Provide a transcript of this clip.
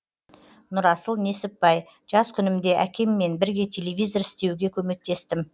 нұрасыл несіпбай жас күнімде әкеммен бірге телевизор істеуге көмектестім